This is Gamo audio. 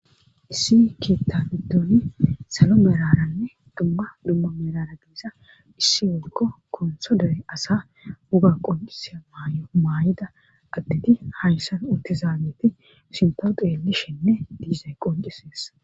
Issi kiittabiddoni salo meraranne dumma dumma merara giiza issi wolko konsho dere asa wuga qoncisa maay'o maay7ida addidi hayssan utte zaageti sinto xeelishenne diizay qoncisees.